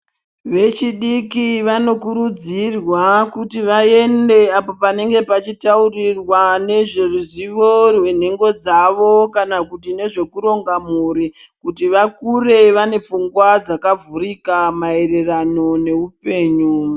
Vechidiki vanokurudzirwa kuti vaende apo panenge pachitaurirwa nezveruzivo rwenhengo dzavo kana kuti nezvekuronga mhuri kuti vakure vane pfungwa dzakavhurika maererano neupengu.